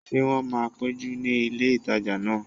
Ṣé wọ́n máa péjọ ní ilé ìtajà náà?